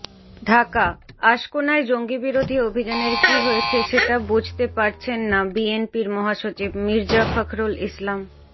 ঢাকাঃ আশকোনায় জঙ্গিবিরোধী অভিযানের কী হয়েছে সেটা বুঝতে পারছেন না বিএনপির মহাসচিব মির্জা ফখরুল ইসলাম